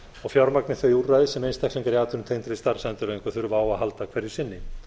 og fjármagni þau úrræði sem einstaklingar í atvinnutengdri starfsendurhæfingu þurfa á að halda hverju sinni